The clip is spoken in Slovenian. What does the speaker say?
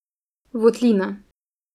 Votlina.